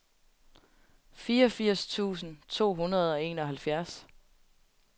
fireogfirs tusind to hundrede og enoghalvfjerds